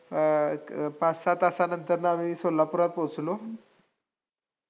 अं पाच-सहा तासानंतर आम्ही सोलापुरात पोहोचलो.